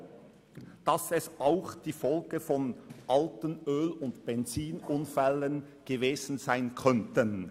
] dass es auch die Folgen von alten Öl- und Benzin-Unfällen gewesen sein könnten.